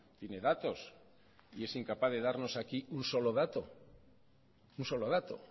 tiene datos y es incapaz de darnos aquí un solo dato un solo dato